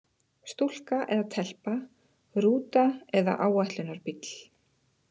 Stúlka eða telpa, rúta eða áætlunarbíll?